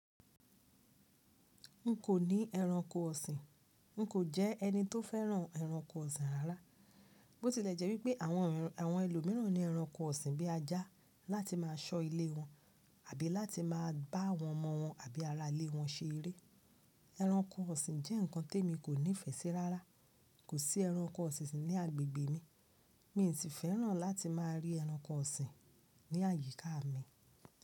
N kò ní ẹranko ọ̀sìn, n kò jẹ́ ẹni tó fẹ́ràn ẹranko ọ̀sìn rárá. Bó tilẹ̀ jẹ́ wípé àwọn, àwọn ẹlòmíràn ní ẹranko ọ̀sìn bí ajá láti má a sọ ilé wọn àbí láti má a bá àwọn ọmọ wọn àbí ara ilé wọn ṣe eré. Ẹranko ọ̀sìn jẹ́ nǹkan tí emi kò nífẹ̀ẹ́ sí rárá. Kò sí ẹranko ọ̀sìn ní agbègbè mi, mi ò tí ì fẹ́ràn láti má a rí ẹranko ọ̀sìn ní àyíká mi.